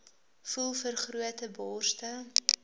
voel vergrote borste